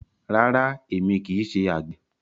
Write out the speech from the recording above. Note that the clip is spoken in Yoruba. Rárá, èmi kì í ṣe àgbẹ̀.